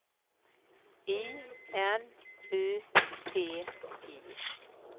I N U T I